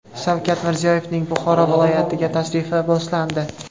Shavkat Mirziyoyevning Buxoro viloyatiga tashrifi boshlandi .